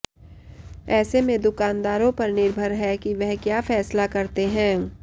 ऐसे में दुकानदारों पर निर्भर है कि वह क्या फैसला करते हैं